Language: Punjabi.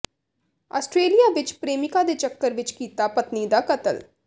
ਆਸਟ੍ਰੇਲੀਆ ਵਿੱਚ ਪ੍ਰੇਮਿਕਾ ਦੇ ਚੱਕਰ ਵਿੱਚ ਕੀਤਾ ਪਤਨੀ ਦਾ ਕਤਲ